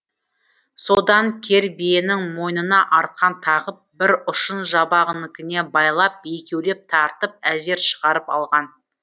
содан кер биенің мойнына арқан тағып бір ұшын жабағыныкіне байлап екеулеп тартып әзер шығарып алған